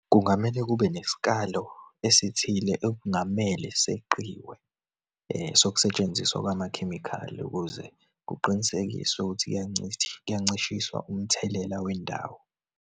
Kungamele kube nesikalo esithile, okungamele seqiwe sokusetshenziswa kwamakhemikhali, ukuze kuqinisekiswe ukuthi kuyancishiswa umthelela wendawo.